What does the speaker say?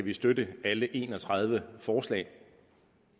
vi støtte alle en og tredive forslag